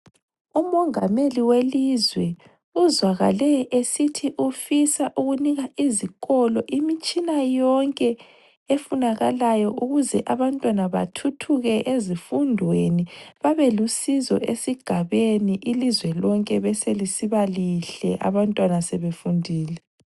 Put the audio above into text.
Umongameli welizwe uzwakale esithi ufisa ukunika izikolo imitshina yonke efunakalayo ukuze abantwana bathuthuke ezifundweni, babelusizo esigabeni ilizwe lonke beselisiba lihle abantwaba sebefundile.